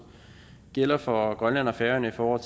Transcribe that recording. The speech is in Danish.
gælder for grønland og færøerne i forhold